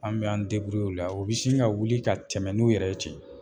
An mɛ an o la u be sin ka wuli ka tɛmɛ n'u yɛrɛ ye ten